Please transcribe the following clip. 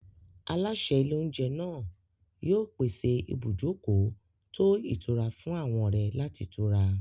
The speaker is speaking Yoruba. Aláṣẹ ilé-oúnjẹ náà yóò pèsè ibùjókòó tó ìtura fún àwọn ọ̀rẹ́ láti tura.